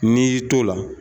N'i y'i t'o la